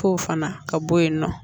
K'o fana ka bɔ yen nɔ